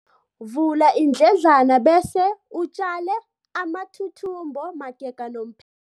Vula iindledlana bese utjale amathuthumbo magega nomph